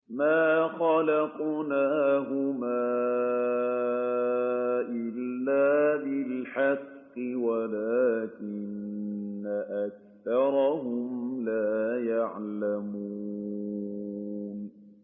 مَا خَلَقْنَاهُمَا إِلَّا بِالْحَقِّ وَلَٰكِنَّ أَكْثَرَهُمْ لَا يَعْلَمُونَ